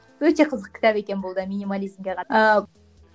өте қызық кітап екен бұл да минимализмге